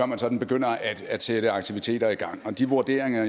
man sådan begynder at sætte aktiviteter i gang og de vurderinger